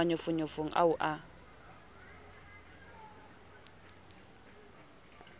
ke thabele manyofonyo ao o